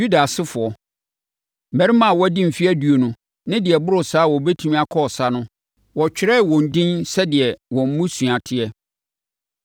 Yuda asefoɔ: Mmarima a wɔadi mfeɛ aduonu ne deɛ ɛboro saa a wɔbɛtumi akɔ ɔsa no, wɔtwerɛɛ wɔn edin sɛdeɛ wɔn mmusua teɛ.